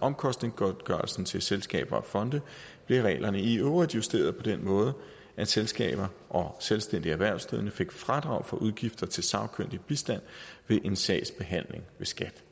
omkostningsgodtgørelsen til selskaber og fonde blev reglerne i øvrigt justeret på den måde at selskaber og selvstændige erhvervsdrivende fik fradrag for udgifter til sagkyndig bistand ved en sagsbehandling ved skat